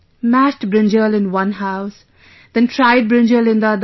Mashed brinjal in one house, then fried brinjal in the other